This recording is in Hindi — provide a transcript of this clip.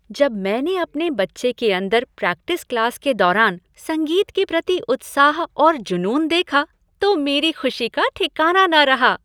जब मैं ने अपने बच्चे के अंदर प्रैक्टिस क्लास के दौरान संगीत के प्रति उत्साह और जुनून देखा तो मेरी खुशी का ठिकाना न रहा।